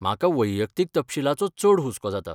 म्हाका वैयक्तीक तपशीलाचो चड हुस्को जाता.